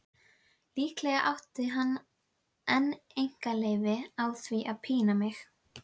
Líklega átti hann einn einkaleyfi á því að pína mig.